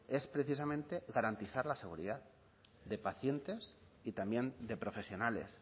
es precisamente garantizar la seguridad de pacientes y también de profesionales